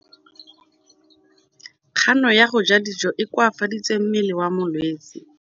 Kganô ya go ja dijo e koafaditse mmele wa molwetse.